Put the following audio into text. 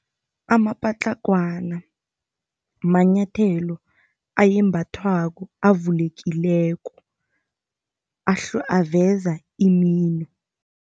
Amapatlagwana manyathelo ayembathwako avulekileko, aveza imino.